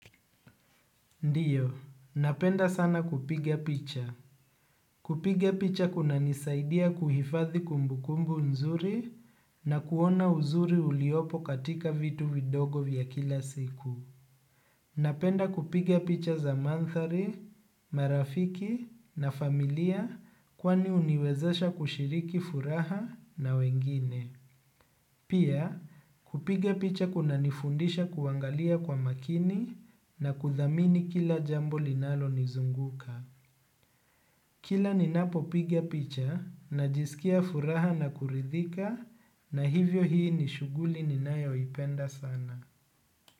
Ndiyo, napenda sana kupiga picha. Kupiga picha kunanisaidia kuhifadhi kumbukumbu nzuri na kuona uzuri uliopo katika vitu vidogo vya kila siku. Napenda kupiga picha za manthari, marafiki na familia kwani huniwezesha kushiriki furaha na wengine. Pia kupigia picha kuna nifundisha kuangalia kwa makini na kudhamini kila jambo linalonizunguka. Kila ninapopigia picha najisikia furaha na kuridhika na hivyo hii ni shuguli ninayoipenda sana.